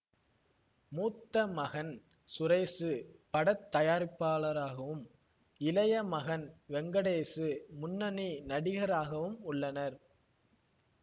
மூத்த மகன் சுரேசு பட தயாரிப்பாளராகவும் இளைய மகன் வெங்கடேசு முன்னணி நடிகராகவும் உள்ளனர்